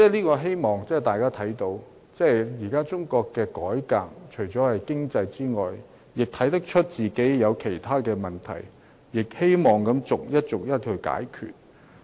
我希望大家也看到，中國現時除了改革經濟之外，亦看出自己有其他問題，有待逐一解決。